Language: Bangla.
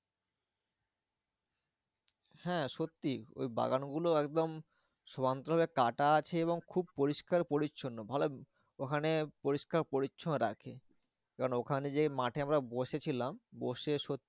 হ্যাঁ সত্যি ওই বাগানগুলো একদম সমান করে কাটা আছে এবং খুব পরিষ্কার পরিচ্ছন্ন। ওখানে পরিষ্কার পরিচ্ছন্ন রাখে। কারণ ওখানে যেই মাঠে আমরা বসে ছিলাম বসে সত্যি